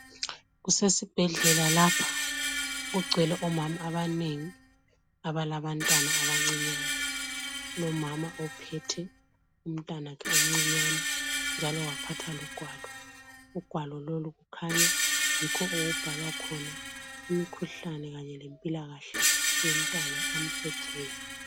Kusesibhedlela lapha kugcwele omama abanengi abalabantwana abancinyane kulomama ophethe umntwana wakhe omcinyane waphatha logwalo ugwalo lolu kukhanya yikho okubhalwa khona imikhuhlane kanye lempilakahle yomntwana amphetheyo.